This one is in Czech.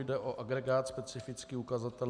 Jde o agregát - specifický ukazatel.